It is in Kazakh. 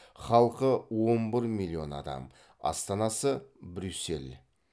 халқы он бір миллион адам астанасы брюссель